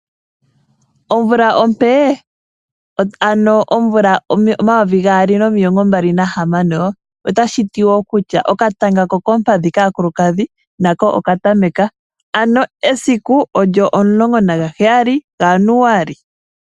Omvula ompe yomvo omayovi gaali nomilongo mbali nahamano otashi ti woo kutya . Okatanga ko koompadhi kaakulukadhi nako oka tameka. Ano esiku olyo omulongo naga heyali ga January.